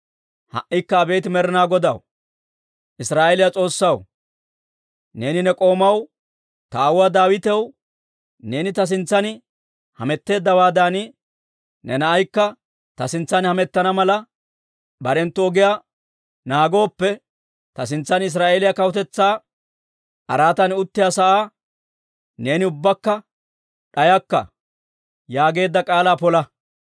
«Ha"ikka abeet Med'inaa Godaa, Israa'eeliyaa S'oossaw, neeni ne k'oomaw, ta aawuwaa Daawitaw, ‹Neeni ta sintsan hametteeddawaadan ne naanaykka ta sintsan hamettana mala barenttu ogiyaa naagooppe, ta sintsan Israa'eeliyaa kawutetsaa araatan uttiyaa asaa neeni ubbakka d'ayakka› yaageedda k'aalaa pola.